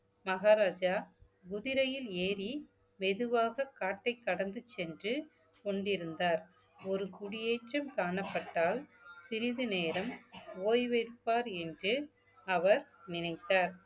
மகாராஜா குதிரையில் ஏறி மெதுவாக காட்டைக் கடந்து சென்று கொண்டிருந்தார் ஒரு குடியேற்றம் காணப்பட்டால் சிறிது நேரம் ஓய்வெடுப்பார் என்று அவர் நினைத்தார்